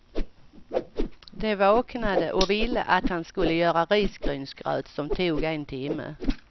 De vaknade och ville att han skulle göra risgrynsgröt som tog en timme.